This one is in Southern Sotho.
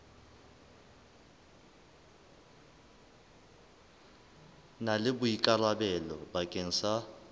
na le boikarabelo bakeng sa